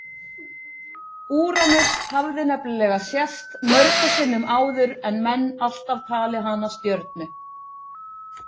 úranus hafði nefnilega sést mörgum sinnum áður en menn alltaf talið hana stjörnu